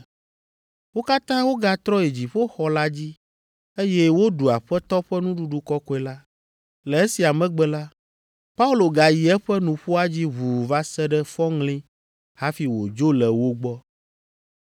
Wo katã wogatrɔ yi dziƒoxɔ la dzi, eye woɖu Aƒetɔ ƒe Nuɖuɖu Kɔkɔe la. Le esia megbe la, Paulo gayi eƒe nuƒoa dzi ʋuu va se ɖe fɔŋli hafi wòdzo le wo gbɔ.